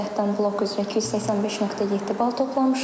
Birinci cəhdən blok üzrə 285.7 bal toplamışam.